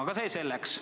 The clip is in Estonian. Aga see selleks.